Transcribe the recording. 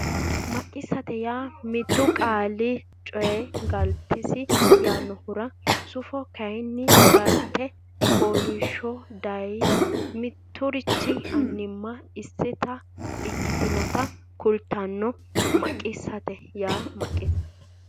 Maqisate yaa mittu qaali coy Galtesi yannohura sufo kayinni galte fooliishsho daye mitturichi annimma isita ikkitinota kultanno Maqisate yaa Maqisate.